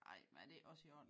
Ej men er det ikke også i orden?